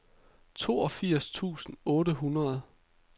toogfirs tusind otte hundrede